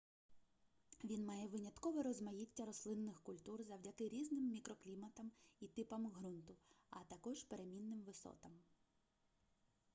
він має виняткове розмаїття рослинних культур завдяки різним мікрокліматам і типам ґрунту а також перемінним висотам